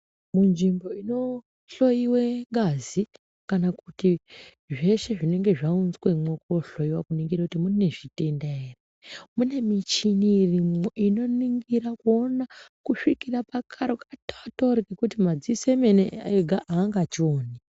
Munzvimbo inohloyiwe ngazi kana kuti zveshe zvinenge zvaunzwemo kohloyiwa kuningira kuti mune zvitenda ere mune michini irimwo unoningira kusvikira pakaro katotori kekuti madziso ega angachioni.